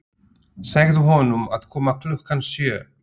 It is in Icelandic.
Segðu honum að koma klukkan sjö.